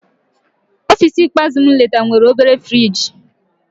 Ọfịs ikpeazụ m letara nwere obere friji.